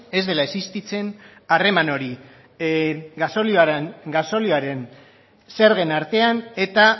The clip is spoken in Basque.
ez dela existitzen harreman hori gasolioaren zergen artean eta